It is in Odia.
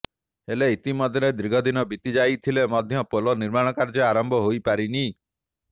ହେଲେ ଇତିମଧ୍ୟରେ ଦୀର୍ଘଦିନ ବିତି ଯାଇଥିଲେ ମଧ୍ୟ ପୋଲ ନିର୍ମାଣ କାର୍ଯ୍ୟ ଆରମ୍ଭ ହୋଇ ପାରିନି